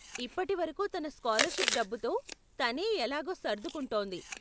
ఇప్పటి వరకు తన స్కాలర్షిప్ డబ్బుతో తనే ఎలాగో సర్దుకుంటోంది.